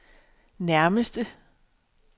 nærmeste